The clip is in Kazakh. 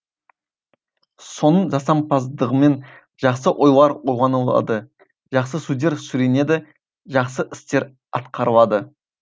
соның жасампаздығымен жақсы ойлар ойланылады жақсы сөздер сөйленеді жақсы істер атқарылады